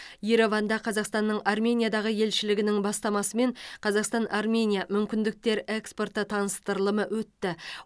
ереванда қазақстанның армениядағы елшілігінің бастамасымен қазақстан армения мүмкіндіктер экспорты таныстырылымы өтті